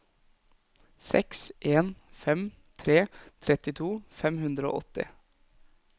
seks en fem tre trettito fem hundre og åtti